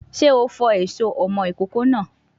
Sé o fọ èso ọmọ ìkókó náà?